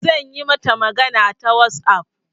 Zan yi mata magana ta WhatsApp.